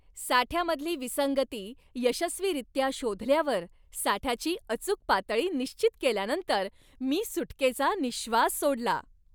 साठ्यामधली विसंगती यशस्वीरित्या शोधल्यावर साठ्याची अचूक पातळी निश्चित केल्यानंतर मी सुटकेचा निश्वास सोडला.